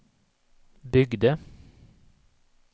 byggde